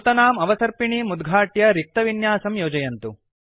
नूतनाम् अवसर्पिणीं उद्घाट्य रिक्तविन्यासं योजयन्तु